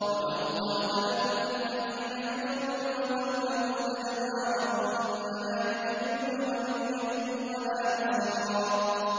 وَلَوْ قَاتَلَكُمُ الَّذِينَ كَفَرُوا لَوَلَّوُا الْأَدْبَارَ ثُمَّ لَا يَجِدُونَ وَلِيًّا وَلَا نَصِيرًا